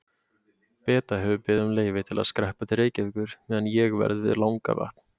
Beta hefur beðið um leyfi til að skreppa til Reykjavíkur meðan ég verð við Langavatn.